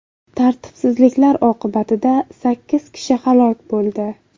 Tartibsizliklar oqibatida sakkiz kishi halok bo‘ldi.